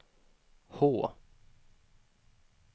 H